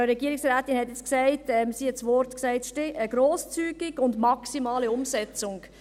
Die Frau Regierungsrätin benutzte die Begriffe «grosszügig» und «maximale Umsetzung».